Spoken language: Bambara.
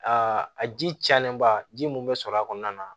Aa a ji cayalenba ji mun bɛ sɔrɔ a kɔnɔna na